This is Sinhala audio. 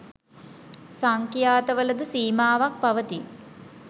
සංඛ්‍යාත වලද සීමාවක් පවතී